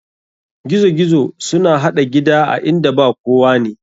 Gizo gizo suna haɗa gida a inda ba kowane.